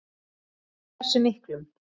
En hversu miklum?